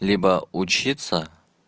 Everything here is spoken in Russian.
либо учится